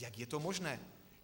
Jak je to možné?